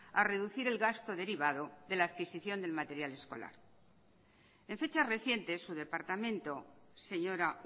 a reducir el gasto derivado de la adquisición del material escolar en fechas recientes su departamento señora